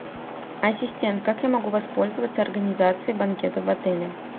ассистент как я могу воспользоваться организацией банкета в отеле